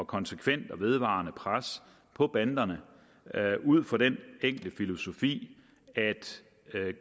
konsekvent og vedvarende pres på banderne ud fra den enkle filosofi at